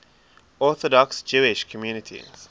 orthodox jewish communities